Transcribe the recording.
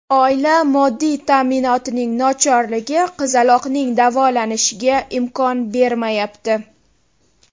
Oila moddiy ta’minotining nochorligi qizaloqning davolanishiga imkon bermayapti.